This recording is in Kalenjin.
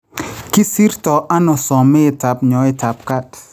Kisirto ano someetab nyoetaab kaat